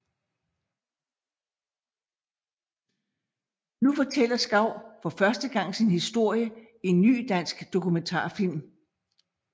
Nu fortæller Schau for første gang sin historie i en ny dansk dokumentarfilm